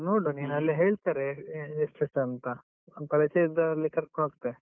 ನೋಡು ನೀನಲ್ಲೇ ಹೇಳ್ತಾರೆ ಎಷ್ಟು ಎಷ್ಟು ಅಂತ, ನಾನ್ ಪರಿಚಯ ಇದ್ದವರಲ್ಲಿ ಕರ್ಕೊಂಡು ಹೋಗ್ತೇ.